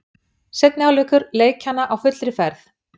Seinni hálfleikur leikjanna á fullri ferð.